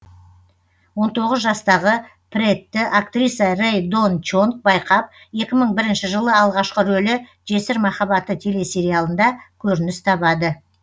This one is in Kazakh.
он тоғыз жастағы прэтті актриса рэй дон чонг байқап екі мың бірінші жылы алғашқы рөлі жесір махаббаты телесериалында көрініс табады